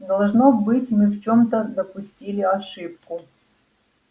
должно быть мы в чём-то допустили ошибку